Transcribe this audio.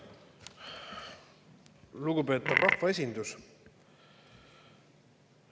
Lugupeetav rahvaesindus!